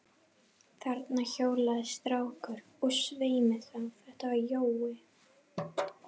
Þarna hjólaði strákur, og svei mér þá, þetta var Jói.